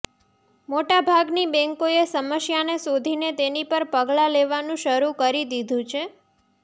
મોટા ભાગની બેન્કોએ સમસ્યાને શોધીને તેની પર પગલાં લેવાનું શરૂ કરી દીધું છે